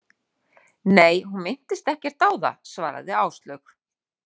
Nei, hún minntist ekkert á það, svaraði Áslaug.